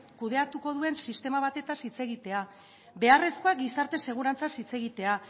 kudeatuko duen sistema batetaz hitz egitea beharrezkoa da gizarte segurantzaz hitz egitea